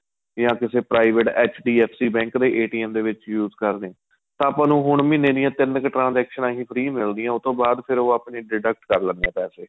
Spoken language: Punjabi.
ਜਾਂ ਕਿਸੇ private ਜਦੋਂ H D F C ਦੇ bank ਦੇ ਜਦੋਂ ਦੇ ਵਿੱਚ use ਕਰਦੇ ਹਾਂ ਤਾਂ ਆਪਾਂ ਨੂੰ ਹੁਣ ਮਹੀਨੇ ਦੀਆਂ ਤਿੰਨ ਕ਼ transaction ਹੀ free ਮਿਲਦੀਆਂ ਉਹ ਤੋ ਬਾਅਦ ਫ਼ੇਰ ਉਹ deduct ਕਰ ਲੈਂਣੇ ਏ ਪੈਸੇ